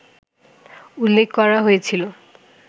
উল্লেখ করা হয়েছিল